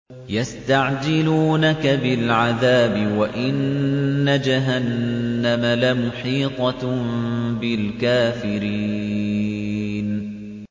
يَسْتَعْجِلُونَكَ بِالْعَذَابِ وَإِنَّ جَهَنَّمَ لَمُحِيطَةٌ بِالْكَافِرِينَ